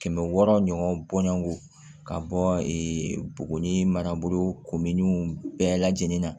Kɛmɛ wɔɔrɔ ɲɔgɔn bɔɲɔgɔn ka bɔ e bugɔ ni maraburu komin bɛɛ lajɛlen na